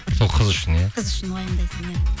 сол қыз үшін иә қыз үшін уайымдайсың иә